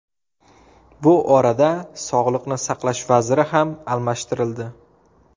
Bu orada Sog‘liqni saqlash vaziri ham almashtirildi.